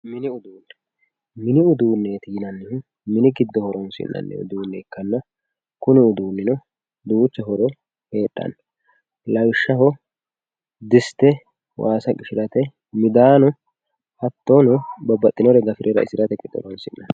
mini uduunne mini uduunne yinannihuhu mini giddo horinannihuonsi'nanniha ikkanna lawishshaho diste waasa qishirate midaano babbaxenore gafe raisirate horonsi'nanni.